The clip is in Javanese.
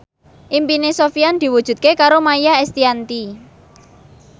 impine Sofyan diwujudke karo Maia Estianty